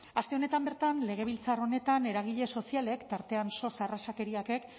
aste honetan bertan legebiltzar honetan eragile sozialek tartean sos arrazakeriakek